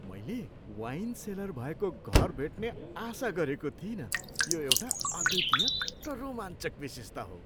मैले wine cellar भएको घर भेट्ने आशा गरेको थिइनँ, यो एउटा अद्वितीय र रोमाञ्चक विशेषता हो।